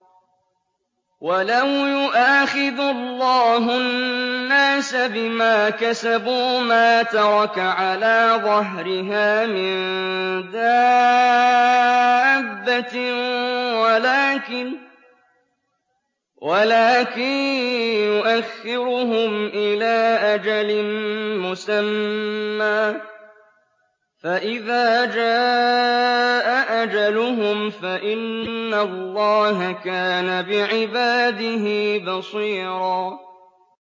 وَلَوْ يُؤَاخِذُ اللَّهُ النَّاسَ بِمَا كَسَبُوا مَا تَرَكَ عَلَىٰ ظَهْرِهَا مِن دَابَّةٍ وَلَٰكِن يُؤَخِّرُهُمْ إِلَىٰ أَجَلٍ مُّسَمًّى ۖ فَإِذَا جَاءَ أَجَلُهُمْ فَإِنَّ اللَّهَ كَانَ بِعِبَادِهِ بَصِيرًا